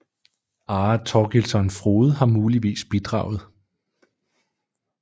Are Torgilsson Frode har muligvis bidraget